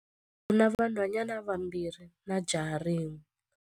U na vanhwanyana vambirhi na jaha rin'we.